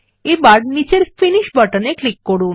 এবার নিচের finish button এ ক্লিক করুন